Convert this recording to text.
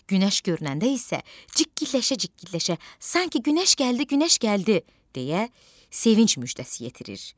Günəş görünəndə isə cikkiləşə-cikkiləşə sanki günəş gəldi, günəş gəldi deyə sevinc müjdəsi yetirir.